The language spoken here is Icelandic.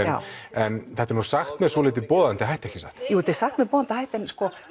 en þetta er sagt með dálítið boðandi hætti ekki satt jú þetta er sagt með boðandi hætti en